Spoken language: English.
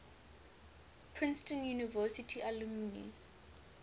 princeton university alumni